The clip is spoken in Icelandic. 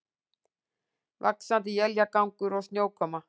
Vaxandi éljagangur og snjókoma